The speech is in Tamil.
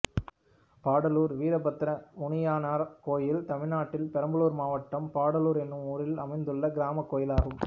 பாடாலுர் வீரப்பத்திரமுனியனார் கோயில் தமிழ்நாட்டில் பெரம்பலூர் மாவட்டம் பாடாலுர் என்னும் ஊரில் அமைந்துள்ள கிராமக் கோயிலாகும்